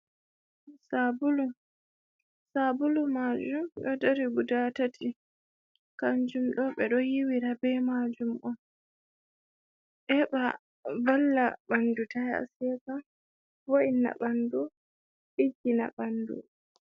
Sabulu: Sabulu majum ɗo dari guda tati. Kanjum ɗo ɓe ɗo hiwira be majum on heɓa valla ɓandu ta seka, vo’inna ɓandu, ɗiggina ɓandu.